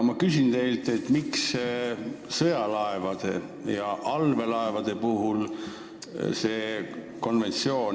Ma küsin teilt, miks ei kehti see konventsioon sõjalaevade ja allveelaevade puhul.